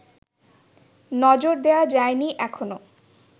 নজর দেয়া যায়নি এখনও